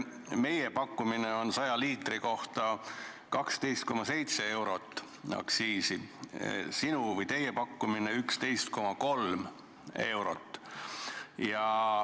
Meie pakkumine on 100 liitri kohta 12,7 eurot aktsiisi, sinu või teie pakkumine on 11,3 eurot.